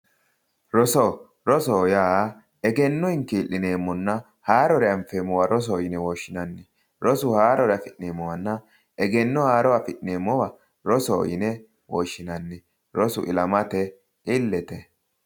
Roso, rosoho yaa egenno hinki'lineemmonna haarore anfeemmoha rosoho yine woshshinanni ,rosu haarore affi'neemmowanna egenno haaro affi'neemmoha rosoho yinne woshshinanni, rosoho yaa ilamate illete.